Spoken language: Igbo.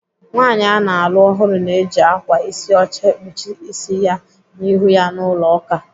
Nwaanyị ana alụ ọhụrụ na-eji ákwà ịsị ọcha ekpuchi ịsị ya na ihu ya n'ụlọ ụka.